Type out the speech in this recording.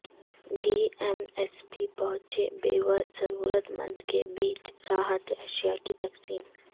D M S P پہونچے بیور ضرورت مند کے بیچ راحت اشیا کی تقسیم